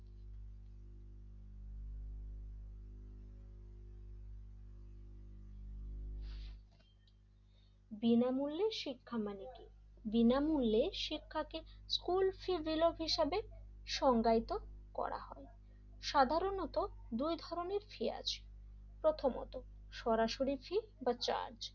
বিনামূল্যে শিক্ষা মানে কি? বিনামূল্যে শিক্ষাকে স্কুল ফী হিসাবে সংজ্ঞায়িত করা হয় সাধারণত দুই ধরনের ফী আছে প্রথমত সরাসরি ফ্রি বা চার্জ,